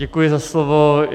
Děkuji za slovo.